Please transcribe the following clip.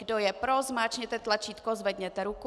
Kdo je pro, zmáčkněte tlačítko, zvedněte ruku.